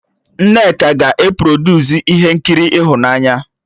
Nneka ga-e produsu ihe nkiri ịhụnanya